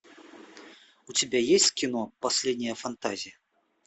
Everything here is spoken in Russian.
у тебя есть кино последняя фантазия